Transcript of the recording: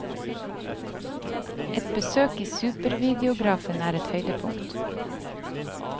Et besøk i supervideografen er et høydepunkt.